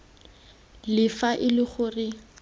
le fa e le gore